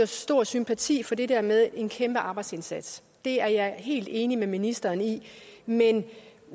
stor sympati for det der med en kæmpe arbejdsindsats det er jeg helt enig med ministeren i men